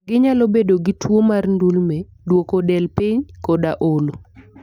Ginyalo bedo gi tuwo mar ndulme, duoko del piny, koda olo.